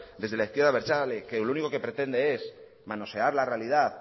desde la izquierda abertzale que lo único que pretende es manosear la realidad